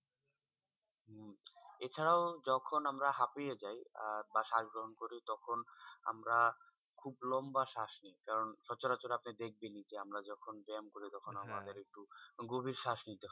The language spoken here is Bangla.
এছাড়াও যখন আমরা হাঁপিয়ে যাই আহ বা শ্বাস গ্রহন করি তখন আমরা খুব লম্বা শ্বাস নেই। কারন সচরাচর আপনি দেখবেনই যে, আমরা যখন ব্যায়াম করি তখন আমাদের একটু গভীর শ্বাস নিতে হয়।